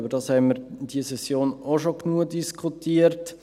Darüber haben wir in dieser Session auch schon genug diskutiert.